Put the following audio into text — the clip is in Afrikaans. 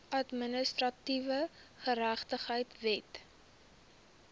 administratiewe geregtigheid wet